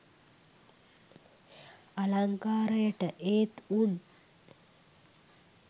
අලංකාරයට! ඒත් උන්